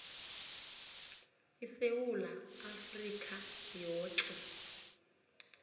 isewula afrika yoke